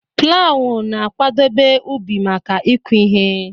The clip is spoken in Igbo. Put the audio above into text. Plawu na-akwadebe ubi maka ịkụ ihe.